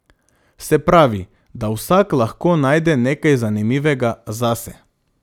Se pravi, da vsak lahko najde nekaj zanimivega zase.